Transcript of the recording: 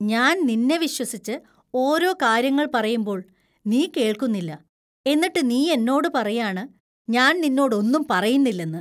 ഞാൻ നിന്നെ വിശ്വസിച്ച് ഓരോ കാര്യങ്ങൾ പറയുമ്പോൾ നീ കേൾക്കുന്നില്ല, എന്നിട്ട് നീ എന്നോട് പറയാണ് ഞാൻ നിന്നോട് ഒന്നും പറയുന്നില്ലെന്ന്.